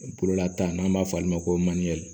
Bolola taa n'an b'a fɔ olu ma ko